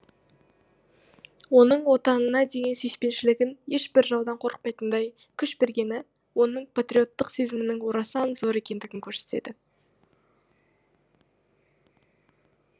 оның отанына деген сүйіспеншілігін ешбір жаудан қорықпайтындай күш бергені оның патриоттық сезімінің орасан зор екендігін көрсетеді